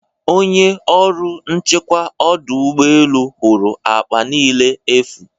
onye ọrụ nchekwa ọdụ ụgbọ elu hụrụ akpa niile efu